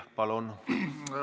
Palun!